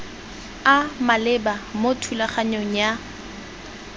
a maleba mo thulaganyong ya